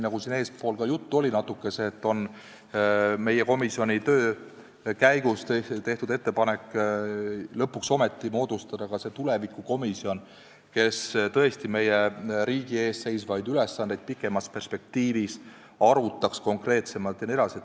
Nagu siin eespool ka juttu oli, meie komisjoni töö käigus on tehtud ettepanek lõpuks ometi moodustada ka tulevikukomisjon, kes tõesti meie riigi ees seisvaid ülesandeid pikemas perspektiivis konkreetsemalt arutaks jne.